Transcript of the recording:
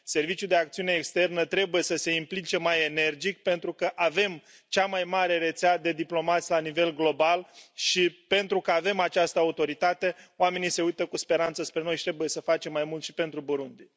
Serviciul de Acțiune Externă trebuie să se implice mai energic pentru că avem cea mai mare rețea de diplomați la nivel global și, pentru că avem această autoritate, oamenii se uită cu speranță spre noi și trebuie să facem mai mult și pentru Burundi.